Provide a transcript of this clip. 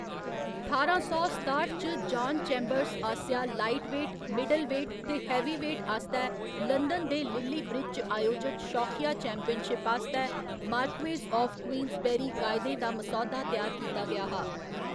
ठारां सौ सताठ च, जान चेम्बर्स आसेआ लाइटवेट, मिडलवेट ते हैवीवेट आस्तै लंदन दे लिल्ली ब्रिज च आयोजित शौकिया चैंपियनशिप आस्तै मार्क्वेस आफ क्वींसबेरी कायदें दा मसौदा त्यार कीता गेआ हा।